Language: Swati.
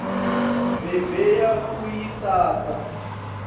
bebayakuyitsatsa